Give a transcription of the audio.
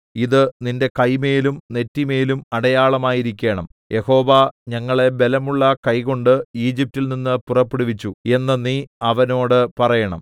ഇത് നിന്റെ കൈമേലും നെറ്റിമേലും അടയാളമായിരിക്കണം യഹോവ ഞങ്ങളെ ബലമുള്ള കൈകൊണ്ട് ഈജിപ്റ്റിൽ നിന്ന് പുറപ്പെടുവിച്ചു എന്ന് നീ അവനോട് പറയണം